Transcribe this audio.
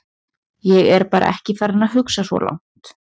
Ég bara er ekki farinn að hugsa svo langt.